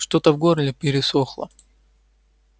что-то в горле пересохло